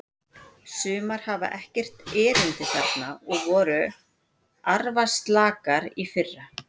Sumar hafa ekkert erindi þarna og voru arfaslakar í fyrra.